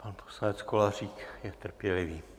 Pan poslanec Kolářík je trpělivý.